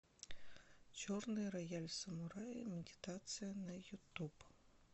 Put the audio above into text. черный рояль самурая медитация на ютуб